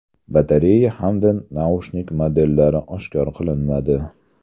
Batareya hamda naushnik modellari oshkor qilinmadi.